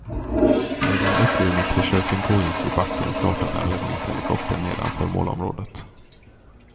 Medan upplivningsförsöken pågick i backen startade en räddningshelikopter nedanför målområdet.